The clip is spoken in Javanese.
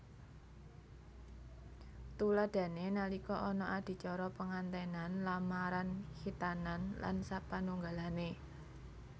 Tuladhané nalika ana adicara pengantènan lamaran khitanan lan sapanunggalané